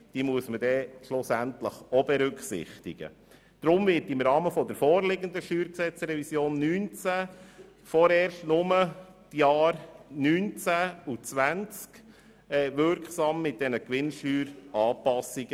Deshalb werden diese Gewinnsteueranpassungen im Rahmen der vorliegenden StG-Revision 2019 vorerst nur in den Jahren 2019 und 2020 wirksam.